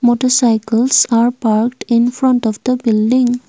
Motorcycles are park in front of the building.